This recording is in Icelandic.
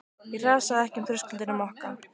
Ég hrasaði ekki um þröskuldinn á Mokka.